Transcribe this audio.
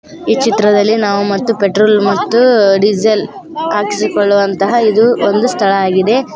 ಈ ಚಿತ್ರದಲಿ ನಾವು ಮತ್ತು ಪೆಟ್ರೋಲ್ ಮತ್ತು ಡೀಸೆಲ್ ಆಕಿಸಿಕೊಳುವಂತಹ ಇದು ಒಂದು ಸ್ಥಳ ಆಗಿದೆ.